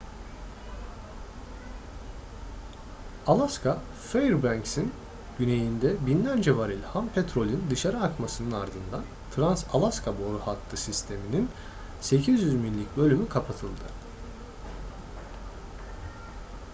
alaska fairbanks'in güneyinde binlerce varil ham petrolün dışarı akmasının ardından trans-alaska boru hattı sistemi'nin 800 millik bölümü kapatıldı